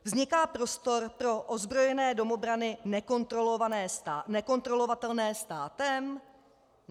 Vzniká prostor pro ozbrojené domobrany nekontrolovatelné státem?